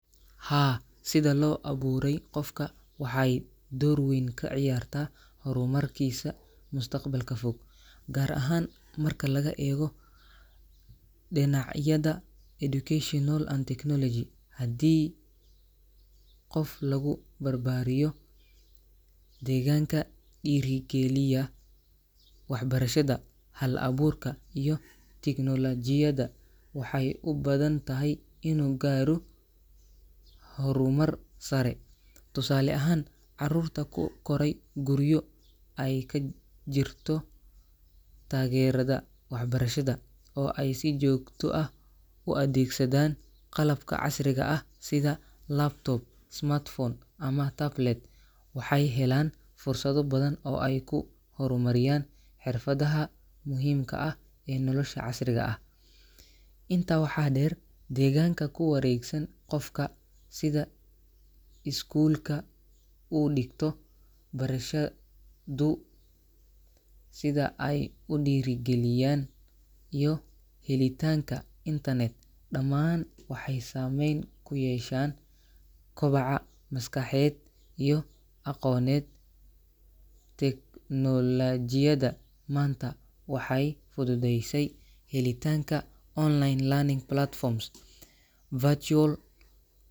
Haa, sida loo abuuray qofka waxay door weyn ka ciyaartaa horumarkiisa mustaqbalka fog, gaar ahaan marka laga eego dhinacyada educational and technology. Haddii qof lagu barbaariyo deegaanka dhiirri geliya waxbarashada, hal-abuurka, iyo tignoolajiyada, waxay u badan tahay inuu gaaro horumar sare. Tusaale ahaan, carruurta ku koray guryo ay ka jirto taageerada waxbarashada, oo ay si joogto ah u adeegsadaan qalabka casriga ah sida laptop, smartphone, ama tablet, waxay helaan fursado badan oo ay ku horumariyaan xirfadaha muhiimka ah ee nolosha casriga ah. Intaa waxaa dheer, deegaanka ku wareegsan qofka — sida iskuulka uu dhigto, barashadu sida ay u dhiirrigeliyaan, iyo helitaanka internet — dhammaan waxay saameyn ku yeeshaan kobaca maskaxeed iyo aqooneed. Teknoolajiyada maanta waxay fududeysay helitaanka online learning platforms, virtual.